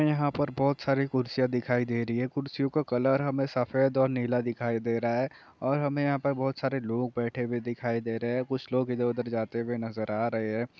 यहां पर बहुत सारी कुर्सियां दिखाई दे रही है कुर्सियो का कलर हमे सफ़ेद और नीला दिखाई दे रहा है और हमे यहां पर बहुत सारे लोग बैठे हुए दिखाई दे रहे है कुछ लोग इधर-उधर जाते हुए नज़र आ रहे है।